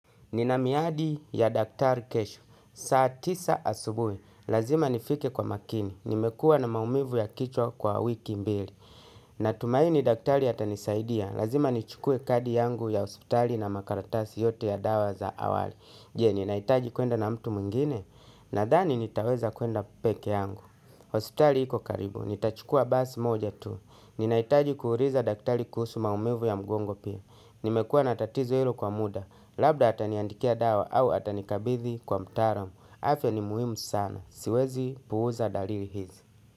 Nina miadi ya daktari kesho, saa tisa asubuhi, lazima nifike kwa makini, nimekuwa na maumivu ya kichwa kwa wiki mbili. Natumaini daktari atanisaidia, lazima nichukue kadi yangu ya hospitali na makaratasi yote ya dawa za awali. Jee, ninaitaji kwenda na mtu mwingine, nadhani nitaweza kwenda peke yangu. Hospitali iko karibu, nitachukua basi moja tu, ninaitaji kuuliza daktari kuhusu maumivu ya mgongo pia. Nimekuwa natatizo ilo kwa muda. Labda ataniandikia dawa au atanikabithi kwa mtaalam. Afya ni muhimu sana. Siwezi puuza dalili hizi.